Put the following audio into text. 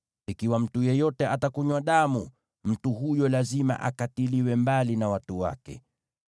Ikiwa mtu yeyote atakunywa damu, mtu huyo lazima akatiliwe mbali na watu wake.’ ”